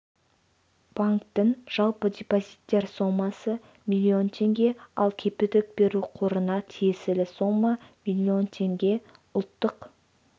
банктің жалпы депозиттер сомасы млн теңге ал кепілдік беру қорына тиесілі сомма млн теңге ұлттық